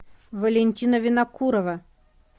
валентина винокурова